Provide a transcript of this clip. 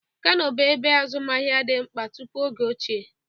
Kano bụ ebe azụmaahịa dị mkpa tupu oge ọchịchị.